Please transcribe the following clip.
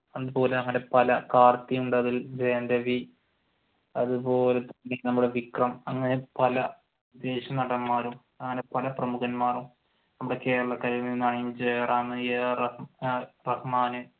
കാർത്തി ഉണ്ട് അതിൽ, ജയൻ രവി അതുപോലെ തന്നെ നമ്മുടെ വിക്രം അങ്ങനെ പല വിദേശി നടന്മാരും പല പ്രമുഖന്മാരും നമ്മുടെ കേരളത്തിൽ നിന്നാണെങ്കിൽ ജയറാം